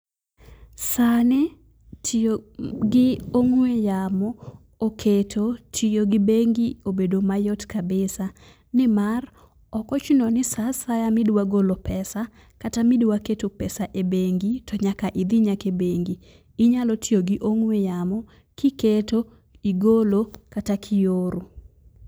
Sani tiyo gi ong'we yamo oketo tiyo gi bengi obedo mayot kabisa nimar, ok ochuno ni saa asaya midwa golo pesa kata midwa keto pesa ebengi tonyaka idhi nyaka ebengi. Inya tiyo gi ong'we yamo kiketo, igolo kata kioro.